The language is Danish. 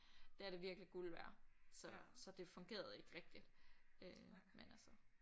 Der er det virkelig guld værd så så det fungerede ikke rigtig øh men altså